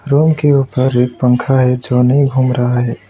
Room के ऊपर एक पंखा है जो नहीं घूम रहा है।